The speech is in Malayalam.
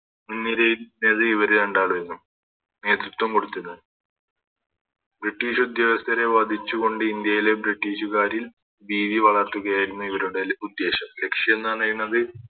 മുൻ നിരയിൽ നിന്നത് ഇവര് രണ്ടാളു ആയിരുന്നു നേതൃത്വം കൊടുത്ത്ന്നെ ബ്രിട്ടീഷ് ഉദ്യോഗസ്ഥരെ വധിച്ചുകൊണ്ട് ഇന്ത്യയിലെ ബ്രിട്ടീഷുകാരിൽ ഭീതി വളർത്തുകയായിരുന്നു ഇവരുടെ ല ഉദ്ദേശം ലക്ഷ്യം ന്ന് പറയുന്നത്